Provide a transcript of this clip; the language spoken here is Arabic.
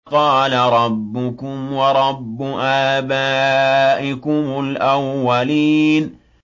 قَالَ رَبُّكُمْ وَرَبُّ آبَائِكُمُ الْأَوَّلِينَ